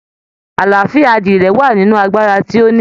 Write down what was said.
Àlàáfíà adìyẹ̀ wà nínú agbára tí o ní.